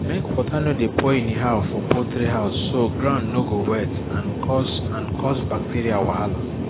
make water no dey pour anyhow for poultry house so ground no go wet and cause and cause bacteria wahala